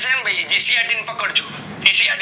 સહેમ મળી GCRT પકડ જો